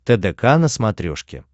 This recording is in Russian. тдк на смотрешке